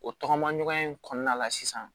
O tɔgɔma ɲɔgɔnya in kɔnɔna la sisan